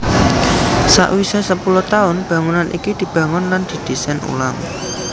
Sawisé sepuluh taun bangunan iki dibangun lan didésain ulang